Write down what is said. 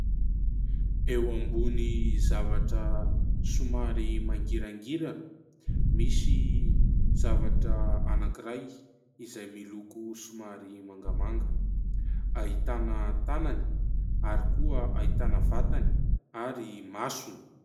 Eo ambony zavatra somary mangirangirana misy zavatra anankiray izay miloko somary mangamanga, ahitana tanany ary koa ahitana vatany ary masony.